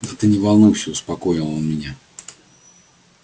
да ты не волнуйся успокоил меня он